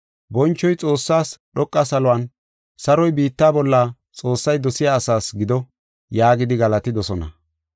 “Bonchoy Xoossaas dhoqa saluwan, saroy biitta bolla Xoossay dosiya asaas gido” yaagidi galatidosona.